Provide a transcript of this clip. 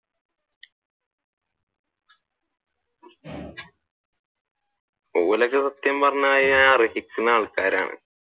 ഓരൊക്കെ സത്യം പറഞ്ഞു കഴിഞ്ഞാൽ അർഹിക്കുന്ന ആൾകാർ ആണ്.